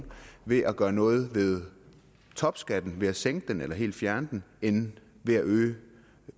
ved at gøre noget ved topskatten ved at sænke den eller helt fjerne den end ved at øge